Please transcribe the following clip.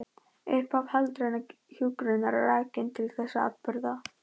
Upphaf heildrænnar hjúkrunar er rakið til þessara atburða.